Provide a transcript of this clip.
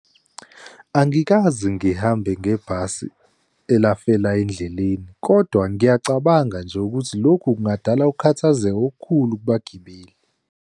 Angikaze ngihambe ngebhasi elafela endleleni, kodwa ngiyacabanga nje ukuthi lokhu kungadala ukukhathazeka okukhulu kubagibeli.